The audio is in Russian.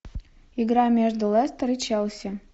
игра между лестер и челси